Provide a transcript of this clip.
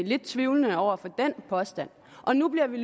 lidt tvivlende over for den påstand og nu bliver vi